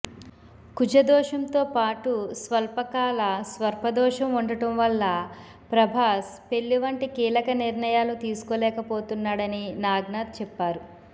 కుజదోషంతో పాటు స్వల్ప కాల స్వర్పదోషం ఉండటం వల్ల ప్రభాస్ పెళ్లి వంటి కీలక నిర్ణయాలు తీసుకోలేకపోతున్నాడని నాగ్నాథ్ చెప్పారు